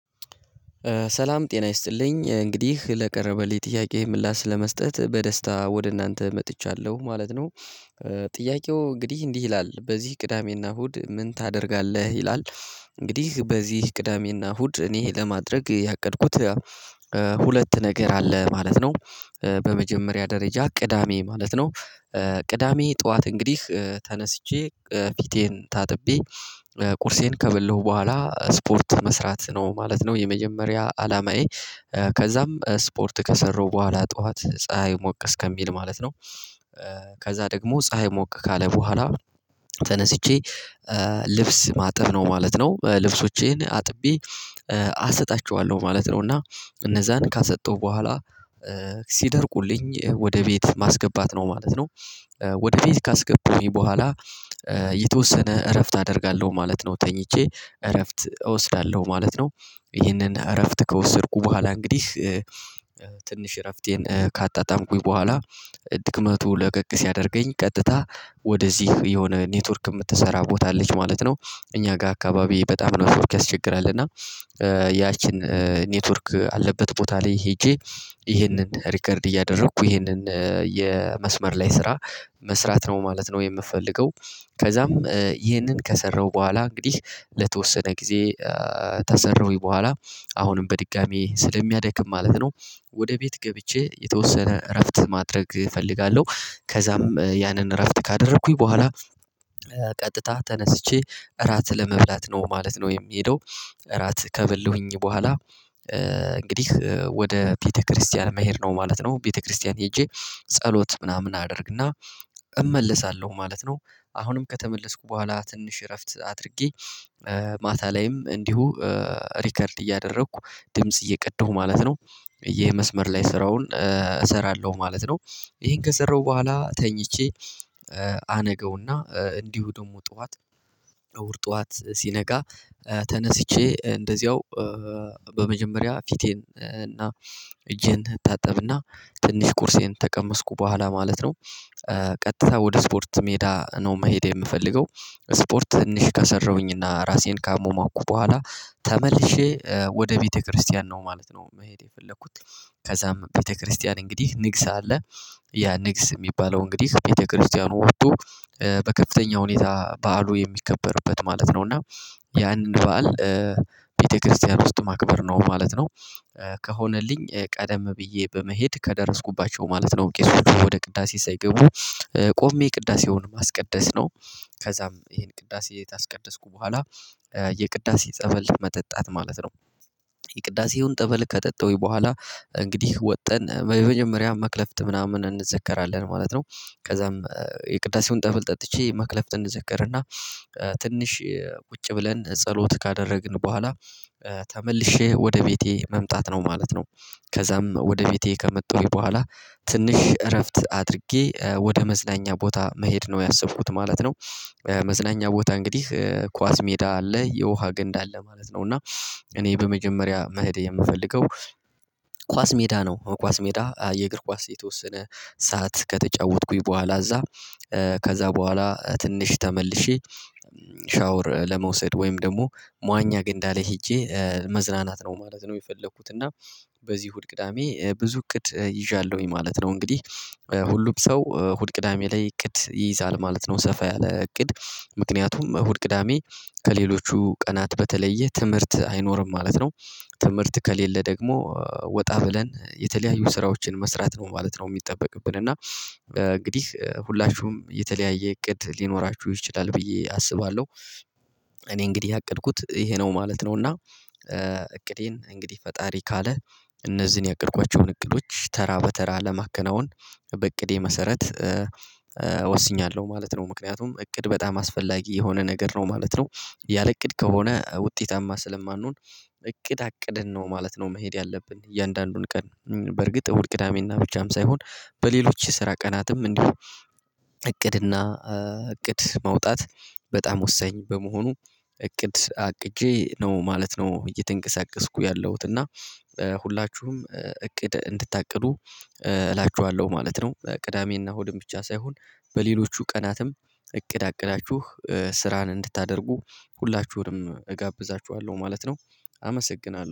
ሰላም ጤና ይስጥልኝ እንግዲህ ለቀረበልኝ ጥያቄ ምላሽ ለመስጠት በደስታ ወደ እናንተ መጥቻለሁ ማለት ነው። ጥያቄው እንግዲህ እንዲህ ይላል በዚህ ቅዳሜና እሁድ ምን ታደርጋለህ? ይላል። እንግዲህ በዚህ ቅዳሜ እና እሁድ እኔ ለማድረግ ያቀድኩት ሁለት ነገር አለ ማለት ነው። በመጀመሪያ ደረጃ ቅዳሜ ማለት ነው። ቅዳሜ ጠዋት እንግዲህ ተነስቼ ፊቴን ታጥቤ ቁርሴን ከበለሁ በኋላ ስፖርት መስራት ነው ማለት ነው የመጀመሪያ አላማዬ። ከዛም ስፖርት ከሰራው በኋላ ጠዋት ፀሀይ ሞቅ እስከ ከሚል ማለት ነው። ከዛ ደግሞ ፀሀይ ሞቅ ካለ በኋላ ተነስቼ ልብስ ማጠብ ነው ማለት ነው። ልብሶቼን አጥቤ አሰጣቸዋለሁ ማለት ነው። እና እነዛን ካሰጣው በኋላ ሲደርቁልኝ ወደ ቤት ማስገባት ነው ማለት ነው። ወደ ቤት ካስገባውኝ በኋላ የተወሰነ እረፍት አደርጋለሁ ማለት ነው ተኝቼ እረፍት እወስዳለሁ ማለት ነው። ይህንን እረፍት ከወሰድኩ በኋላ እንግዲህ ትንሽ እረፍቴን ካጣጣምኩኝ በኋላ ድክመቱ ለቀቅ ሲያደርገኝ ቀጥታ ወደዚህ የሆነ ኔትወርክ የምትሰራ ቦታ ልጅ ማለት ነው። እኛ ጋር አካባቢ በጣም ነው ኔትዎርክ ያስቸግራል እና። ያችን ኔትወርክ ካለበት ቦታ ላይ ሄጄ ይሄንን ሪከርድ እያደረኩ ይህንን የመስመር ላይ ስራ መስራት ነው ማለት ነው የምፈልገው። ከዛም ይህንን ከሰራው በኋላ እንግዲህ ለተወሰነ ጊዜ ተሰራሁኝ በኋላ አሁንም በድጋሚ ስለሚያደክም ማለት ነው። ወደ ቤት ገብቼ የተወሰነ እረፍት ማድረግ እፈልጋለሁ ከዛም ያንን እረፍት ካደረኩኝ በኋላ ቀጥታ ተነስቼ እራት ለመብላት ነው ማለት ነው የሚሄደው። እራት ከበላሁኘ በኋላ እንግዲህ ወደ ቤተክርስቲያን መሄድ ነው ማለት ነው ቤተክርስቲያን ሄጄ ጸሎት ምናምን አደርግ እና እመለሳለሁ ማለት ነው። አሁንም ከተመለስኩ በኋላ ትንሽ እረፍት አድርጌ ማታ ላይም እንዲሁ ሪከርድ እያደረኩ ድምጽ እየቀደሁ ማለት ነው። የመስመር ላይ ስራውን እሰራለሁ ማለት ነው። ይሄን ከሰራሁ በኋላ ተኝቼ አነገውና እንዲሁ ደግሞ ጠዋት እሁድርዠ ጠዋት ሲነጋ ተነስቼ እንደዚያው በመጀመሪያ ፊቴን እና እጄን ታጠብ እና ትንሽ ቁርሴን ተቀመስኩ በኋላ ማለት ነው። ቀጥታ ወደ ስፖርት ሜዳ ነው መሄድ የምፈልገው። ስፖርት ትንሽ ከሰራሁኝ እና ራሴን ካሟሟኩ በኋላ ተመልሼ ወደ ቤተክርስቲያን ነው ማለት ነው መሄድ የፈለኩት። ከዛም ቤተክርስቲያን እንግዲህ ንግስ አለ ያ ንግስ የሚባለው እንግዲህ ቤተክርስቲያኑ ወቶ በከፍተኛ ሁኔታ በዓሉ የሚከበርበት ማለት ነው። እና የአንድ በዓል ቤተክርስቲያን ውስጥ ማክበር ነው ማለት ነው። ከሆነልኝ ቀደም ብዬ በመሄድ ከደረስኩባቸው ማለት ነው ቄሶቹ ወደ ቅዳሴ ሳይገቡ ቆሜ ቅዳሴውን ማስቀደስ ነው። ከዛም ይሄን ቅዳሴ ካስቀደስኩ በኋላ የቅዳሴ ጠበል መጠጣት ማለት ነው። የቅዳሴውን ጠበል ከጠጣሁኝ በኋላ እንግዲህ ወጥተን በመጀመሪያ መክለፍት ምናምን እንዘከራለን ማለት ነው። ከዛም የቅዳሴውን ጠብል ጠጥቼ መክለፍ እንዘክር እና ትንሽ ቁጭ ብለን ጸሎት ካደረግን በኋላ ተመልሼ ወደ ቤቴ መምጣት ነው ማለት ነው። ከዛም ወደ ቤቴ ከመጡኝ በኋላ ትንሽ እረፍት አድርጌ ወደ መዝናኛ ቦታ መሄድ ነው ያሰብኩት ማለት ነው። መዝናኛ ቦታ እንግዲህ ኳስ ሜዳ አለ የውሃ ገንዳ አለ ማለት ነው እና እኔ በመጀመሪያ መሄድ የምፈልገው። ኳስ ሜዳ ነው ኳስ ሜዳ የእግር ኳስ የተወሰነ ሰዓት ከተጫወትኩኝ በኋላ እዛ ከዛ በኋላ ትንሽ ተመልሼ ሻወር ለመውሰድ ወይም ደግሞ ሟኛ ግንዳ ላይ ሄጄ መዝናናት ነው ማለት ነው የፈለኩት። እና በዚህ እሁድ ቅዳሜ ብዙ እቅድ ይዣለሁኝ ማለት ነው። እንግዲህ ሁሉም ሰው እሁድ ቅዳሜ ላይ እቅድ ይይዛል ማለት ነው። ሰፋ ያለ እቅድ ምክንያቱም እሁድ ቅዳሜ ከሌሎቹ ቀናት በተለየ ትምህርት አይኖርም ማለት ነው። ትምህርት ከሌለ ደግሞ ወጣ ብለን የተለያዩ ስራዎችን መስራት ነው ማለት ነው የሚጠበቅብን። እና እንግዲህ ሁላችሁም የተለያየ እቅድ ሊኖራችሁ ይችላል ብዬ አስባለሁ። እኔ እንግዲህ ያቀድኩት ይሄ ነው ማለት ነው። እና እቅዴን እንግዲህ ፈጣሪ ካለ እነዚህን ያቀድኳቸውን እቅዶች ተራ በተራ ለማከናወን በእቅዴ መሰረት ወስኛለሁ ማለት ነው። ምክንያቱም እቅድ በጣም አስፈላጊ የሆነ ነገር ነው ማለት ነው። ያለእቅድ ከሆነ ውጤታማ ስለማንሆን። እቅድ አቅድን ነው ማለት ነው መሄድ ያለብን እያንዳንዱን ቀን። በርግጥ እሁድ ቅዳሜና ብቻም ሳይሆን በሌሎች የሰራ ቀናትም እንዲሁ እቅድ እና እቅድ ማውጣት በጣም ወሳኝ በመሆኑ። እቅድ አቅጄ ነው ማለት ነው። እየተንቀሳቀስኩ ያለሁት እና ሁላችሁም እቅድ እንድታቅዱ እላችኋለሁ ማለት ነው። ቅዳሜ እና እሁድም ብቻ ሳይሆን በሌሎቹ ቀናትም እቅድ አቅዳችሁ ስራን እንድታደርጉ ሁላችሁንም እጋብዛቹኋለሁ ማለት ነው። አመሰግናለሁ